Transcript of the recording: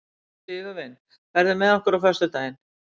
Sigurvin, ferð þú með okkur á föstudaginn?